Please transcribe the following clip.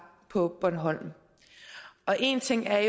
på bornholm én ting er